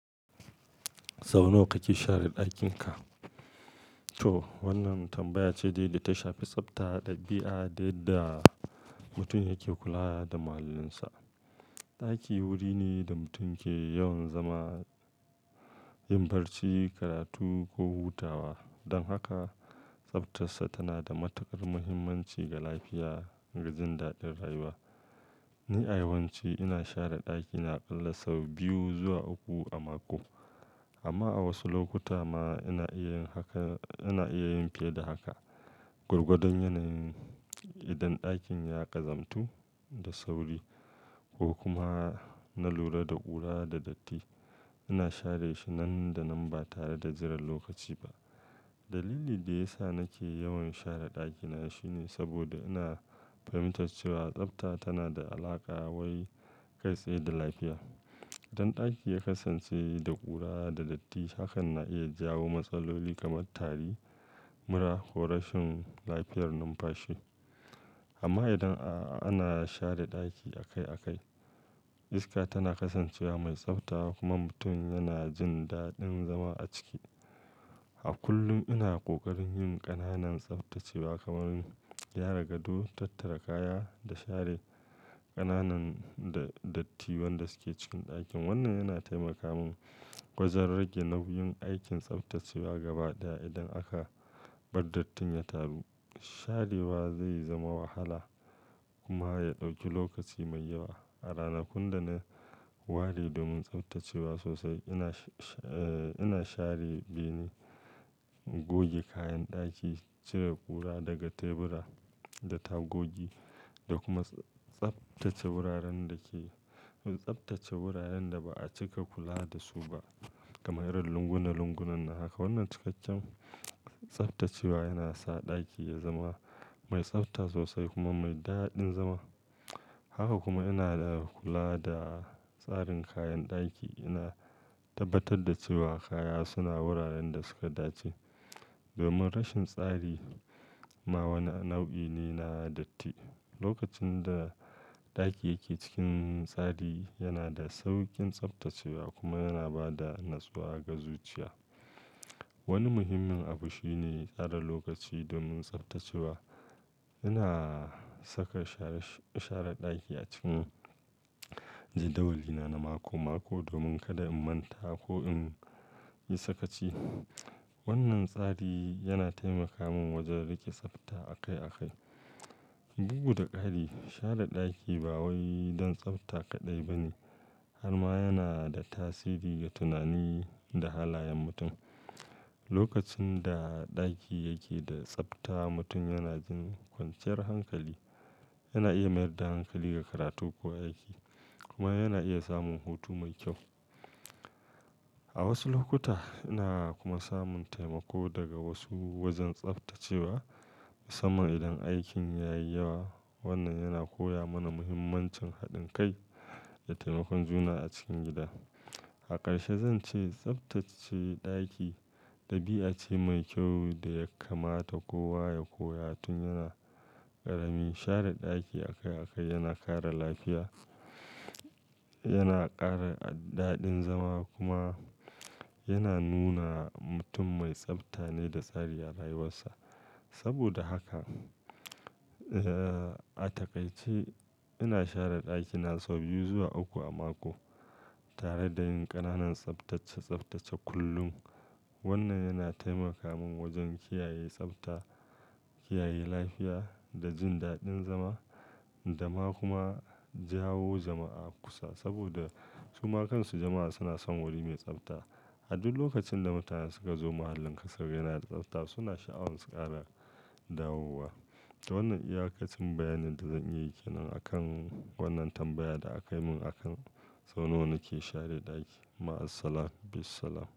Sau nawa kake share ɗakinka? To, wannan tambaya ce da yadda ta shafi tsafta dabi'a da yadda mutum yake kula da muhallinsa. Ɗaki wuri ne da mutum ke yawan zama, yin barci, karatu ko hutawa. Don haka, tsaftarsa tana da matuƙar muhimmanci ga lafiya da jin daɗin rayuwa. Ni, a yawan ci, ina share ɗakina akalla sau biyu zuwa uku a mako. Amma a wasu lokuta ma ina iya yin fiye da haka. Gwargwadon yanayin, idan ɗakin ya ƙazantu da sauri ko kuma na lura da ƙura da datti, ina share shi nan da nan ba tare da jiran lokaci ba. Dalili da ya sa nake yawan share ɗakina shine saboda ina fahimtar cewa tsafta tana da alaƙa wai kai tsaye da lafiya. Idan ɗaki ya kasance da ƙura da datti, hakan na iya jawo matsaloli kamar tari, mura ko rashin lafiyar numfashi. Amma idan ana share ɗaki akai akai, iska tana kasancewa mai tsafta kuma mutum yana jin daɗin zama a ciki. A kullum ina ƙoƙarin yin ƙananan tsaftacewa kamar gyara gado, tattara kaya da share ƙananan dattin wanda suke cikin ɗakin. Wannan yana taimaka mun wajen rage nauyin aikin tsaftacewa gaba ɗaya. Idan aka bar dattin ya taru, sharewa zai zama wahala kuma ya ɗauki lokaci mai yawa. A ranakun da na ware domin tsaftacewa sosai, ina share bene, goge kayan ɗaki, cire ƙura daga tebura da tagogi da kuma tsaftace wuraren da ba a cika kula da su ba kamar irin lunguna, lunguna da haka. Wannan cikakken tsaftacewa yana sa ɗaki ya zama mai tsafta sosai kuma mai daɗin zama. Haka kuma ina kula da tsarin kayan ɗaki. Ina tabbatar da cewa kaya suna wuraren da suka dace domin rashin tsari ma wani nau'i ne na datti. Lokacin da ɗaki yake cikin tsari, yana da sauƙin tsaftacewa kuma yana ba da natsuwa ga zuciya. Wani muhimmin abu shine tsara lokaci domin tsaftacewa. Ina saka share ɗaki a cikin jadawalina na mako-mako domin kada in manta ko in yi sakaci. Wannan tsari yana taimaka mun wajen riƙe tsafta akai akai. Bugu da ƙari, share ɗaki ba wai don tsafta kaɗai ba ne har ma yana da tasiri ga tunani da halayen mutum. Lokacin da ɗaki yake da tsafta, mutum yana jin kwanciyar hankali, yana iya mayar da hankali ga karatu ko aiki kuma yana iya samun hutu mai kyau. A wasu lokuta ina kuma samun taimako daga wasu wajen tsaftacewa, sama idan aikin ya yi yawa. Wannan yana koya mana muhimmancin haɗin kai da taimakon juna a cikin gida. A ƙarshe, zan ce tsaftace ɗaki ɗabi'a ce mai kyau da ya kamata kowa ya koya tun yana ƙarami. Share ɗaki akai akai yana kare lafiya, yana ƙara daɗin zama kuma yana nuna mutum mai tsafta ne da tsari a rayuwarsa. Saboda haka, a takaice ina share ɗakina sau biyu zuwa uku a mako tare da yin ƙananan tsaftace-tsaftace kullum. Wannan yana taimaka mun wajen kiyaye tsafta, kiyaye lafiya da jin daɗin zama, da ma kuma jawo jama'a kusa saboda su ma kansu jama'a suna son wuri mai tsafta. A duk lokacin da mutane suka zo muhallinka sukaga yana da tsafta suna sha'awar ƙara dawowa. Wannan iyaka ce bayanin da zan yi ke nan a kan wannan tambayar da aka yi mun akan sau nawa nake share ɗaki. Ma'as-salam, bis-salam.